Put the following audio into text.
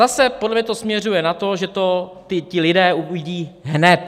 Zase podle mě to směřuje na to, že to ti lidé uvidí hned.